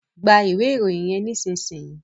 Gbà iwe Ìròyìn yén nísìsiyìí!